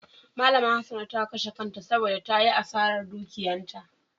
Malama Hassana ta kashe kanta saboda ta yi asarar dukiyanta.